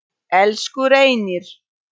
Elsku Reynir.